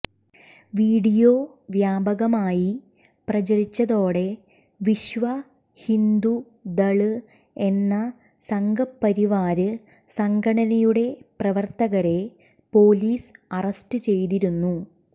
video വ്യാപകമായി പ്രചരിച്ചതോടെ വിശ്വ ഹിന്ദു ദള് എന്ന സംഘപരിവാര് സംഘടനയുടെ പ്രവര്ത്തകരെ പോലീസ് അറസ്റ്റ് ചെയ്തിരുന്നു